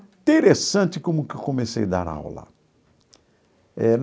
Interessante como que eu comecei a dar aula eh.